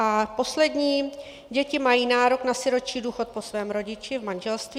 A poslední: děti mají nárok na sirotčí důchod po svém rodiči v manželství.